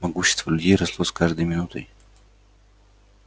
могущество людей росло с каждой минутой